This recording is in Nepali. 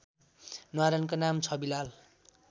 न्वारानको नाम छविलाल